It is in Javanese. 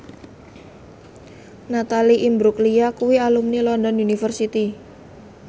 Natalie Imbruglia kuwi alumni London University